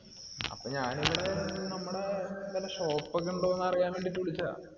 അഹ് അപ്പൊ ഞാൻ ഇങ്ങനെ നമ്മടെ ഇങ്ങനെ shop ഒക്കെ ഇൻഡോ ന്ന് അറിയാൻ വേണ്ടീട് വിളിച്ചെയ